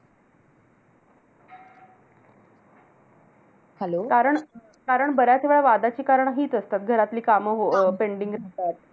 कारण कारण बऱ्याच वेळा वादाची कारणं हीच असतात. घरातली काम हो अं pending असतात.